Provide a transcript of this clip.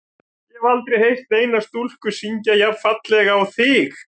Ég hef aldrei heyrt neina stúlku syngja jafn fallega og þig.